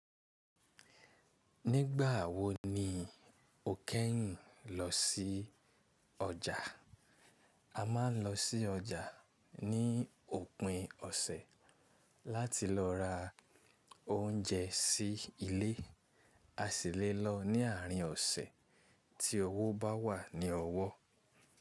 Nígbà wo ni o kẹ́yìn lọ sí ọjà? A máa ń lọ sí ọjà ní òpin ọ̀sẹ̀ láti lọ ra oúnjẹ sí ilé. A sì lé lọ ní àárín ọ̀sẹ̀ tí owó bá wà ní ọwọ́.